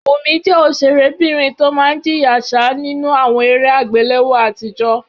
Wùmí jẹ́ ọ̀sẹ̀rébìnrin tó máa ń jìyà ṣáá nínú àwọn eré àgbéléwò àtijọ́